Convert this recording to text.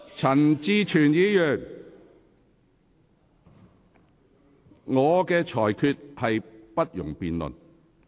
陳志全議員，我的裁決不容辯論。